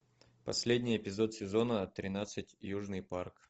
последний эпизод сезона тринадцать южный парк